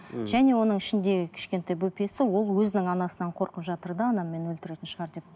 мхм және оның ішіндегі кішкентай бөпесі ол өзінің анасынан қорқып жатыр да анам мені өлтіретін шығар деп